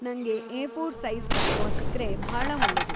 ನಂಗೆ A four size canvas ಸಿಕ್ರೆ ಭಾಳಾ ಒಳ್ಳೇದು.